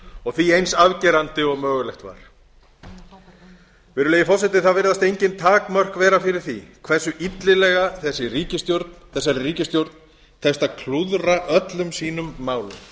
og því eins afgerandi og mögulegt var virðulegi forseti það virðast engin takmörk vera fyrir því hversu illilega þessari ríkisstjórn tekst að klúðra öllum sínum málum